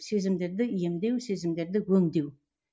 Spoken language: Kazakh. сезімдерді емдеу сезімдерді өңдеу